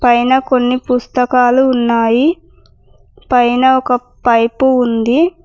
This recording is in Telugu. పైన కొన్ని పుస్తకాలు ఉన్నాయి పైన ఒక పైపు ఉంది.